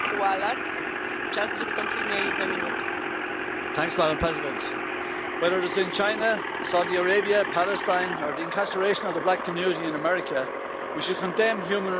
Madam President, whether it is in China, Saudi Arabia, Palestine or the incarceration of the black community in America, we should condemn human rights violations everywhere.